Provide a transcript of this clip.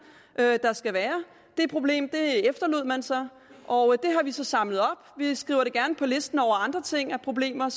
der skal være det problem efterlod man sig og det har vi så samlet op vi skriver det gerne på listen over andre problemer